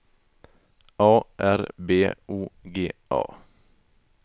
A R B O G A